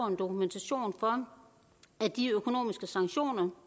en dokumentation for at de økonomiske sanktioner